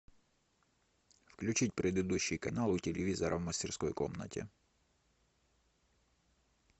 включить предыдущий канал у телевизора в мастерской комнате